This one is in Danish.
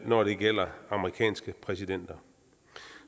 når det gælder amerikanske præsidenter